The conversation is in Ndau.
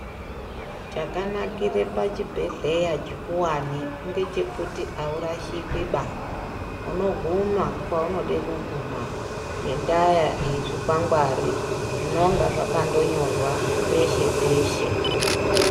Chakanakire pachibhedhleya chikuwani ngechekuti awurashiki ba unoguma kwaunode kuguma ngendayezvikwangwari zvinonga zvakandonyorwa peshe peshe